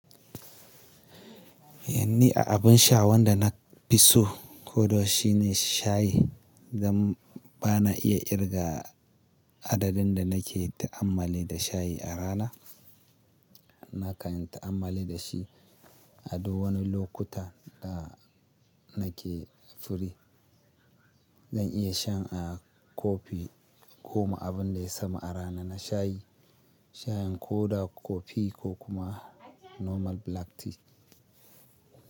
Ƴanni a abin sha wanda na fi so ko da yau she shine shayi. Zan, ba na iya kirga adadin da nake ta'ammali da shayi a rana. Nakan yi ta'ammali da shi a duk wani lokuta da nake firi. Zan iya shan, ah, kofi goma abin da ya sama a rana na shayi. Shayin koda, kofi ko kuma normal black tea.